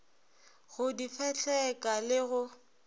go di fetleka le go